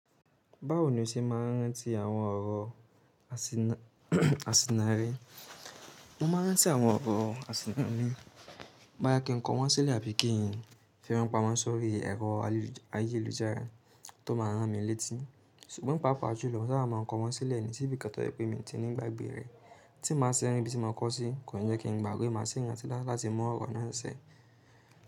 Báwo ni o ṣe máa ń rántí àwọn ọ̀rọ̀ àsìnnarí? Mo máa ń rántí àwọn ọ̀rọ̀ àsìnnarí bá yẹ kí n kọ wọ́n sílẹ̀ àbí kí n fi wọn pamọ́ sórí ẹ̀rọ ayélujára tó máa ràn mí létí. Ṣùgbọ́n pàápàá julọ, sáré máa n kọ wọ́n sílẹ̀ nítorí bí kankan yẹ pé mi ti ní gbàgbé rẹ̀ tí mo máa ṣe irun bí tí mo kọ́ sí, kò yẹ kí n gbàgbe. Mo sì ní ìrántí láti mọ ọ̀rọ̀ náà sẹ̀.